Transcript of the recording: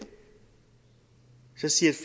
så siger